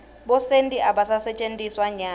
bosenti abasentjetiswa nyalo